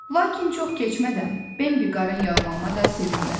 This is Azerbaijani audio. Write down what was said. Lakin çox keçmədən Bembi qarın yağmağına da sevinmədi.